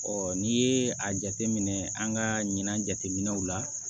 n'i ye a jateminɛ an ka ɲina jateminɛw la